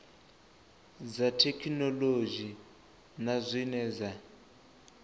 dza thekhinolodzhi na zwine dza